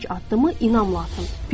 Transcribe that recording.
İlk addımı inamla atın.